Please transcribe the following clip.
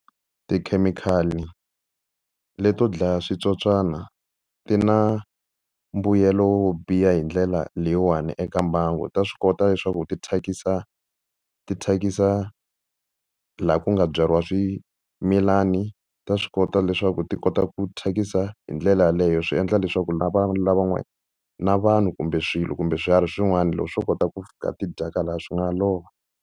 Tikhemikhali leto dlaya switsotswana ti na mbuyelo wo biha hi ndlela leyiwani eka mbangu, ta swi kota leswaku ti thyakisa ti thyakisa laha ku nga byariwa swimilani ta swi kota leswaku ti kota ku thyakisa hi ndlela yeleyo swi endla leswaku na vanhu lavan'wana na vanhu kumbe swilo kumbe swiharhi swin'wana loko swo kota ku fika ti dyaka lahaya swi nga lova.